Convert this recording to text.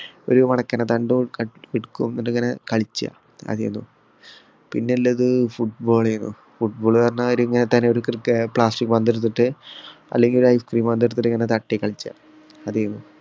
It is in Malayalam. ഒരു തണ്ടും എടുക്കും പിന്നെ ഉള്ളത് football ആയിരുന്നു. football ന്ന് പറഞ്ഞാൽ പന്ത് എടുത്തിട്ട് അല്ലെങ്കിൽ ഒരു ഐസ്ക്രീം പന്ത് എടുത്തിട്ടു ഇങ്ങനെ തട്ടിക്കളിക്കും.